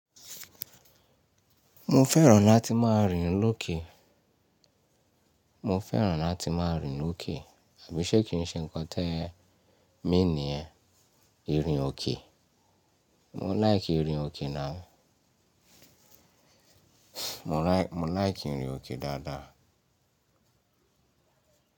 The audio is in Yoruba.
Mo fẹ́ràn láti máa rìn lókè. Mo fẹ́ràn láti máa rìn lókè, àbí ṣé kí n ṣe ń kọ́ tẹ́ẹ́ mean nìyẹn, ìrìn òkè? Mo like ìrìn òkè náà. Mo like ìrìn òkè dáadáa.